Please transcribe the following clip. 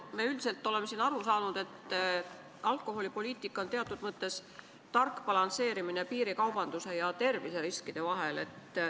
Me üldiselt oleme siin aru saanud, et alkoholipoliitika peab teatud mõttes olema tark balansseerimine piirikaubanduse riski ja terviseriskide vahel.